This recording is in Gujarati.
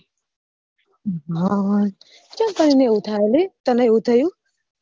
યાર ચમ તને એવું થાય લી તને એવું થયું